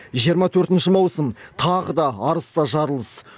жиырма төртінші маусым тағы да арыста жарылыс